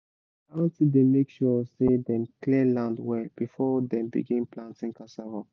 my aunty dey make sure say dem clear land well before dem begin planting cassava